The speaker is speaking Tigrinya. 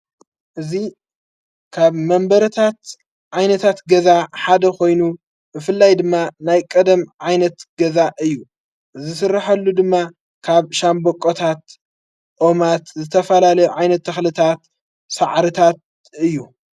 እዙ ካብ መንበረታት ዓይነታት ገዛ ሓደ ኾይኑ እፍላይ ድማ ናይ ቀደም ዓይነት ገዛ እዩ ዝሥራሐሉ ድማ ካብ ሻንበቆታት ኦማት ዘተፈላለ ዓይነት ተኽልታት ሠዓርታት እዩ።